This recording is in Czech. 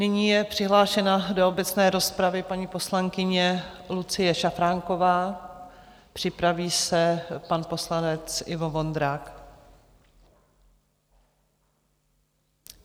Nyní je přihlášena do obecné rozpravy paní poslankyně Lucie Šafránková, připraví se pan poslanec Ivo Vondrák.